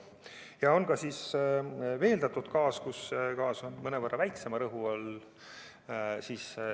Ja on ka veeldatud gaasi paak, kus gaas on mõnevõrra väiksema rõhu all.